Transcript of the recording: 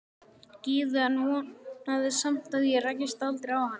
Gyðu en vonaði samt að ég rækist aldrei á hana.